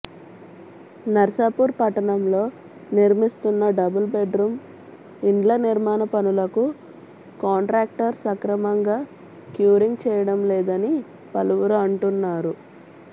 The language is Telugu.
నర్సాపూర్ పట్టణంలో నిర్మిస్తున్న డబుల్ బెడ్రూమ్ ఇండ్ల నిర్మాణ పనులకు కాంట్రాక్టర్ సక్రమంగా క్యూరింగ్ చేయడం లేదని పలువురు అంటున్నారు